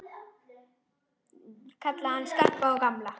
Kalla hann Skarpa og gamla!